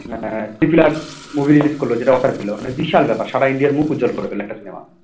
movie release করল যেটা Oscar পেল মানে বিশাল ব্যাপার সারা India র মুখ উজ্জ্বল করে ফেলল একটা cinema